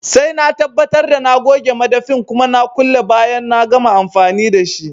Sai na tabbatar da na goge madafin kuma na kulle bayan na gama amfani dashi